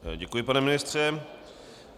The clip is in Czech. Děkuji, pane ministře.